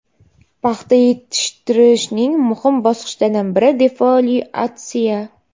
Paxta yetishtirishning muhim bosqichlaridan biri defoliatsiya.